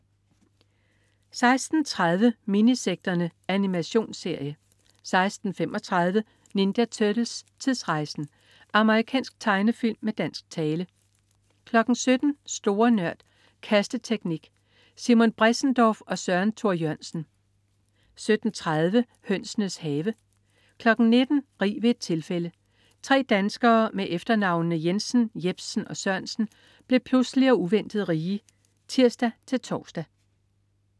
16.30 Minisekterne. Animationsserie 16.35 Ninja Turtles: Tidsrejsen! Amerikansk tegnefilm med dansk tale 17.00 Store Nørd. Kasteteknik. Simon Bressendorff og Søren Thor Jørgensen 17.30 Hønsenes Have 19.00 Rig ved et tilfælde. Tre danskere med efternavnene Jensen, Jepsen og Sørensen blev pludseligt og uventet rige (tirs-tors)